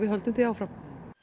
höldum því áfram